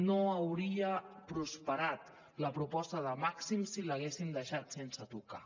no hauria prosperat la proposta de màxims si l’haguéssim deixat sense tocar